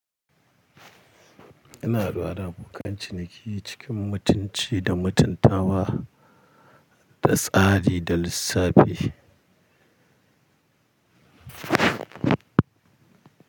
Ina haɗuwa da abokan ciniki cikin mutunci da mutuntawa, da tsari da lissafi.